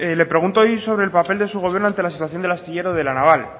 le pregunto hoy sobre el papel de su gobierno ante la situación del astillero la naval